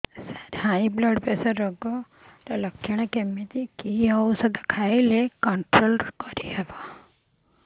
ସାର high pressure ରୋଗର ଲଖଣ କେମିତି କି ଓଷଧ ଖାଇଲେ କଂଟ୍ରୋଲ କରିହେବ